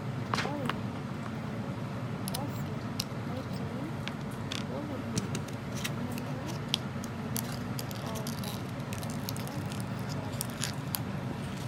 oreena ardasi netii intokitin nemenya oltung'ani oota ena moyian e sukari